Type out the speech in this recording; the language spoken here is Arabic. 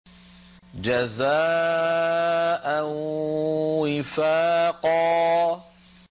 جَزَاءً وِفَاقًا